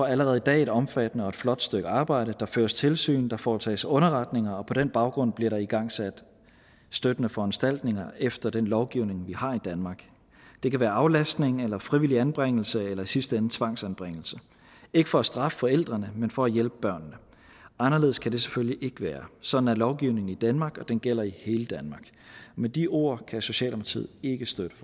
allerede i dag et omfattende og flot stykke arbejde der føres tilsyn og der foretages underretninger og på den baggrund bliver der igangsat støttende foranstaltninger efter den lovgivning vi har i danmark det kan være aflastning eller frivillig anbringelse eller i sidste ende tvangsanbringelse ikke for at straffe forældrene men for at hjælpe børnene anderledes kan det selvfølgelig ikke være sådan er lovgivningen i danmark og den gælder i hele danmark med de ord kan socialdemokratiet ikke støtte